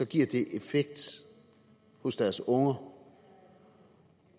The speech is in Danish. giver det effekt hos deres unger